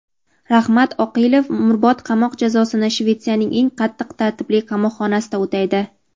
Rahmat Oqilov umrbod qamoq jazosini Shvetsiyaning eng qattiq tartibli qamoqxonasida o‘taydi.